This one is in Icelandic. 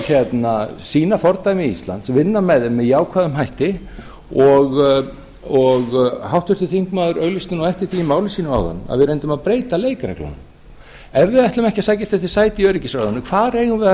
og sýna fordæmi íslands vinna með þeim með jákvæðum hætti háttvirtur þingmaður auglýsti nú eftir því í máli sínu áðan að við reyndum að breyta leikreglunum ef við ætlum ekki að sækjast eftir sæti í öryggisráðinu hvar eigum við þá